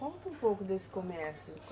Conta um pouco desse comércio.